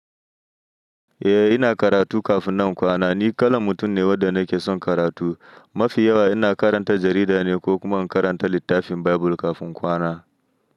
Eh ina karatu kafin nan in kwana. Ni kalan mutum ne wadda nake son karatu. Mafi yawa ina karanta jarida ne ko kuma in karanta littafin Baibul kafin kwana.